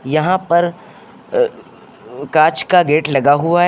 यहां पर अ कांच का गेट लगा हुआ है।